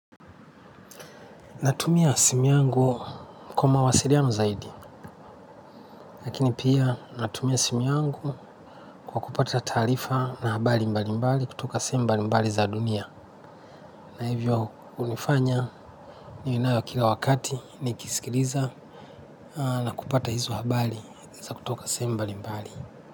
Natumia simu yangu kwa mawasiliano zaidi, lakini pia natumia simu yangu kwa kupata taarifa na habari mbali mbali kutoka sehemu mbali mbali za dunia. Na hivyo hunifanya ninayo kila wakati nikisikiliza na kupata hizo habari za kutoka sehemu mbali mbali.